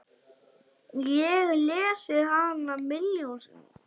Ég lesið hana milljón sinnum.